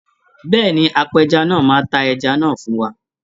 Bẹ́ẹ̀ni, apẹja náà máa ta ẹja náà fún wa.